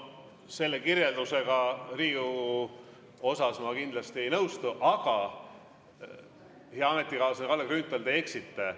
Selle kirjeldusega Riigikogu osas ma kindlasti ei nõustu, aga, hea ametikaaslane Kalle Grünthal, te eksite.